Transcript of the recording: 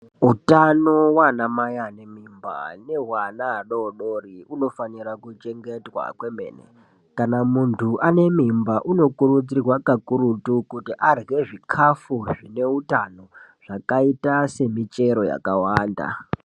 Utano vanamai vane mimba nehwaana adodori unofanira kuchengetwa kwemene. Kana muntu ane mimba unokurudzirwa kakurutu kuti arye zvikafu zvine utano, zvakaita semichero yakawanda.